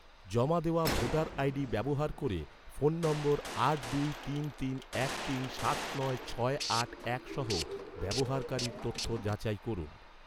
জমা দেওয়া voter ID ব্যবহার ক’রে, ফোন নম্বর আট দুই তিন তিন এক তিন সাত নয় ছয় আট এক সহ, ব্যবহারকারীর তথ্য যাচাই করুন